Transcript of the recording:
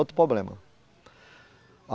Outro problema.